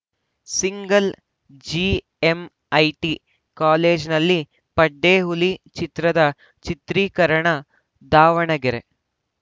single GMIT ಕಾಲೇಜಿನಲ್ಲಿ ಪಡ್ಡೆ ಹುಲಿ ಚಿತ್ರದ ಚಿತ್ರೀಕರಣ ದಾವಣಗೆರೆ